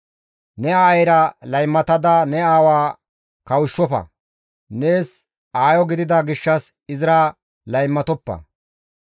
«Ne aayeyra laymatada ne aawa kawushshofa; nees aayo gidida gishshas izira laymatoppa.